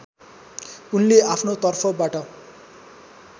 उनले आफ्नो तर्फबाट